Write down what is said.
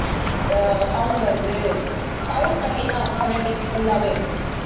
அஹ் sound வருது sound பத்திதான் phonetics full ஆவே